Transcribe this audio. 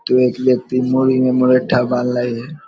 तो एक व्यत्कि मुड़ी में मुरेट्ठा बांधले है।